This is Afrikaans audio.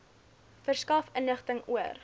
verskaf inligting oor